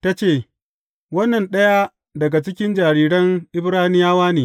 Ta ce, Wannan ɗaya daga cikin jariran Ibraniyawa ne.